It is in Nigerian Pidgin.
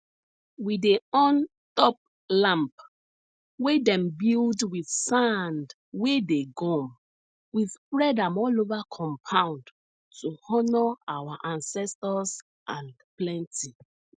we dey on top lamp wey dem build with sand wey dey gum we spread am all over compound to honor our ancestors and plenty